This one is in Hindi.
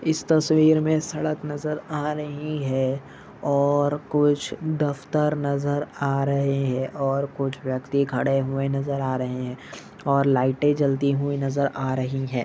इस तस्वीर मे सड़क नज़र आ रही है और कुछ दफ्तर नज़र आ रहे है और कुछ वियक्ति खड़े हुए नज़र आ रहे और लाइटे जलती हुई नज़र आ रही है।